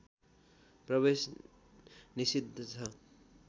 प्रवेश निषिद्ध छ